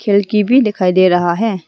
लड़की भी दिखाई दे रहा है।